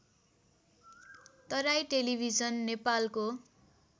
Terai television नेपालको